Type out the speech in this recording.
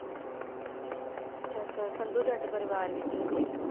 ਅੱਛਾ ਅੱਛਾ ਸੰਧੂ ਜੱਟ ਪਰਿਵਾਰ ਵਿਚੋਂ ਸੀ